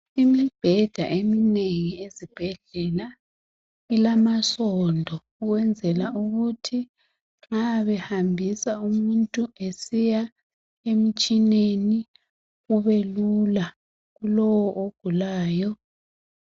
Imibheda eminengi ezibhedlela ilamasondo ukwenzela ukuthi mabehambisa umuntu esiya emitsheneni. Kube lula kulowo ogulayo.